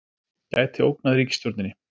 Gæti ógnað ríkisstjórninni